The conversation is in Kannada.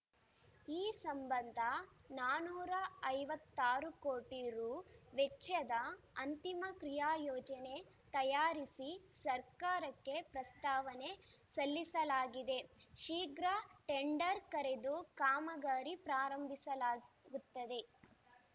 ಈ ಸಂಬಂಧ ನಾಲ್ಕುನೂರ ಐವತ್ತ್ ಆರು ಕೋಟಿ ರು ವೆಚ್ಚದ ಅಂತಿಮ ಕ್ರಿಯಾಯೋಜನೆ ತಯಾರಿಸಿ ಸರ್ಕಾರಕ್ಕೆ ಪ್ರಸ್ತಾವನೆ ಸಲ್ಲಿಸಲಾಗಿದೆ ಶೀಘ್ರ ಟೆಂಡರ್‌ ಕರೆದು ಕಾಮಗಾರಿ ಪ್ರಾರಂಭಿಸಲಾಗುತ್ತದೆ